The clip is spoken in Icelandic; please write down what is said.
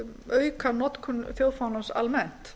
auka notkun þjóðfánans almennt